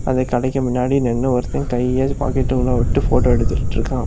அந்த கடைக்கு முன்னாடி நின்னு ஒருத்தன் கைய பாக்கெட்டுக்குள்ள விட்டு போட்டோ எடுத்துட்ருக்கான்.